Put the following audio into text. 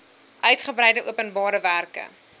uigebreide openbare werke